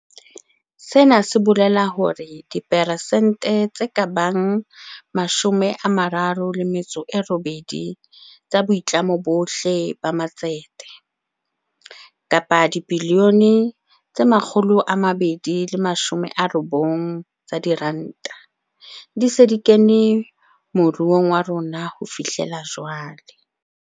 Sena se bolela hore dipersente tse ka bang 38 tsa boitlamo bohle ba matsete - kapa dibilione tse 290 tsa diranta - di se di kene mo ruong wa rona ho fihlela jwale.